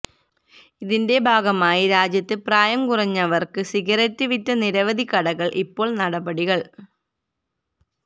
ഇതിന്റെ ഭാഗമായി രാജ്യത്ത് പ്രായംകുറഞ്ഞവർക്ക് സിഗരറ്റ് വിറ്റ നിരവധി കടകൾ ഇപ്പോൾ നടപടികൾ